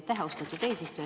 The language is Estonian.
Aitäh, austatud eesistuja!